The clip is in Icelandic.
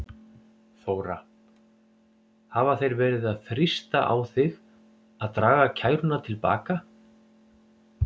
Þóra: Hafa þeir verið að þrýsta á þig að draga kæruna til baka?